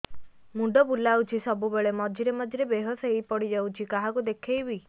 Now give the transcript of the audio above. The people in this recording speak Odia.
ମୁଣ୍ଡ ବୁଲାଉଛି ସବୁବେଳେ ମଝିରେ ମଝିରେ ବେହୋସ ହେଇ ପଡିଯାଉଛି କାହାକୁ ଦେଖେଇବି